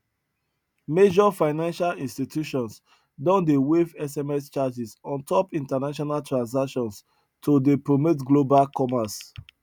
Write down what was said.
major financial institutions don dey waive sms charges on top international transactions to dey promote global commerce